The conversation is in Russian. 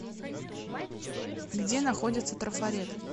где находится трафарет